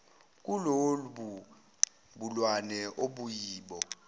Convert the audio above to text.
kulobu bulwane osuyibo